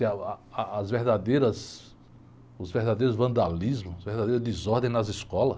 Eh, uh, ah, as verdadeiras, os verdadeiros vandalismos, verdadeiras desordens nas escolas.